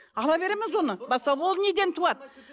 ала береміз оны ол неден туады